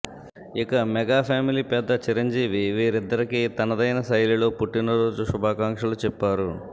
ఇక mega family పెద్ద చిరంజీవి వీరిద్దరికి తనదైన శైలిలో పుట్టిన రోజు శుభాకాంక్షలు చెప్పారు